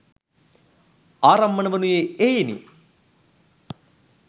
ආරම්මණ වනුයේ එහෙයිනි.